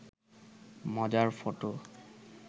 মজার ফটো